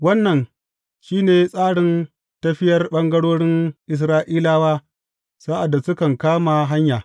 Wannan shi ne tsarin tafiyar ɓangarorin Isra’ilawa, sa’ad da sukan kama hanya.